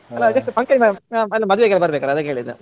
ಹ ಇದಕೆ function ಗೆ ಅಲಾ ಮದುವೆಗೂ ಬರ್ಬೇಕಲ್ಲ ಅದಕ್ಕೆ ಹೇಳಿದ್ದು.